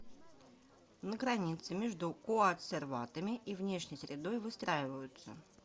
на границе между коацерватами и внешней средой выстраиваются